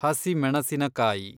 ಹಸಿ ಮೆಣಸಿನಕಾಯಿ